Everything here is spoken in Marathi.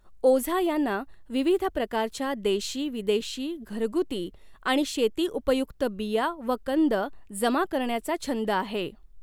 ओझा यांना विविध प्रकारच्या देशी विदेशी घरगुती आणि शेतीउपयुक्त बीया व कंद जमा करण्याचा छंद आहे.